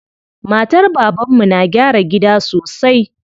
Matar baban mu na gyara gida sosai.